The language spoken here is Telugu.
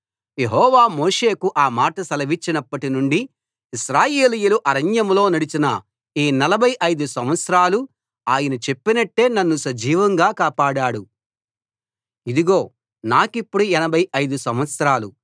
యెహోవా మోషేకు ఆ మాట సెలవిచ్చినప్పటి నుండి ఇశ్రాయేలీయులు అరణ్యంలో నడిచిన ఈ నలభై ఐదు సంవత్సరాలు ఆయన చెప్పినట్టే నన్ను సజీవంగా కాపాడాడు ఇదిగో నాకిప్పుడు ఎనభై ఐదు సంవత్సరాలు